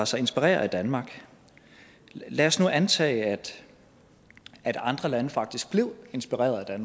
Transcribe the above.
sig inspirere af danmark lad os nu antage at andre lande faktisk blev inspireret af